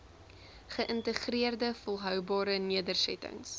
geïntegreerde volhoubare nedersettings